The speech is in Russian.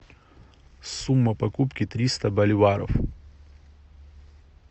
сумма покупки триста боливаров